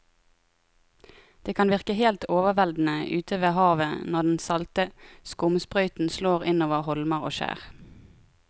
Det kan virke helt overveldende ute ved havet når den salte skumsprøyten slår innover holmer og skjær.